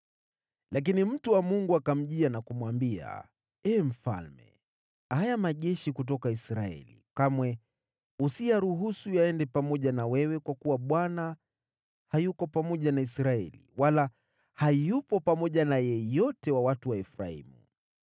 Lakini mtu wa Mungu akamjia na kumwambia, “Ee mfalme, haya majeshi kutoka Israeli kamwe usiyaruhusu yaende pamoja na wewe kwa kuwa Bwana hayuko pamoja na Israeli, wala hayupo pamoja na yeyote wa watu wa Efraimu.